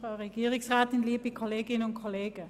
Zuerst hat Grossrätin Speiser das Wort.